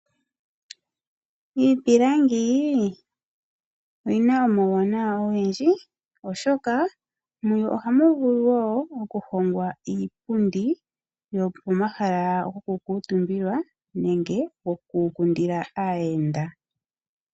Iipilangi oyina omauwanawa ogendji, oshoka muyo ohamu vulu okuhongwa iipundi yopomahala gokuukuntumbilwa, nenge pomahala goku kundila aayenda.